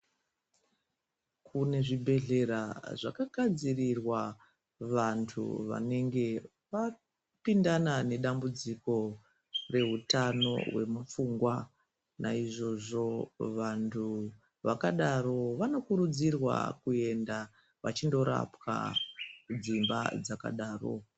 Kune zvibhedhlera zvakagadzirirwa vantu vanenge vapindana nedambudziko rehutano hwemupfungwa naizvozvo vantu vakadaro vanokurudzirwa kuenda vachindorapwa kudzimba dzakadaro.